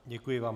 Děkuji vám.